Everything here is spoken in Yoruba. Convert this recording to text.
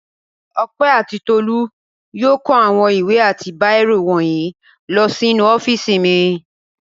Ọpẹ́ àti Tolú yóò kó àwọn ìwé àti bírò wọ̀nyí lọ sínú ọ́fíísì mi.